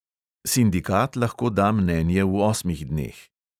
Sindikat lahko da mnenje v osmih dneh.